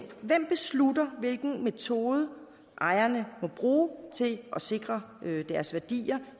hvem beslutter hvilken metode ejerne må bruge til at sikre deres værdier